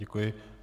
Děkuji.